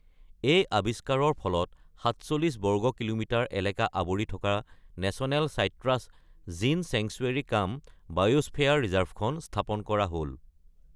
এই আৱিষ্কাৰৰ ফলত সাতচল্লিশ বৰ্গ কিলোমিটাৰ এলেকা আৱৰি থকা নেচনেল চাইট্ৰাছ জিন চেংচুৱেৰী-কাম-বায়োস্ফেয়াৰ ৰিজাৰ্ভখন স্থাপন কৰা হ'ল ।